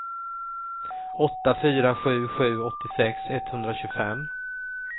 åtta fyra sju sju åttiosex etthundratjugofem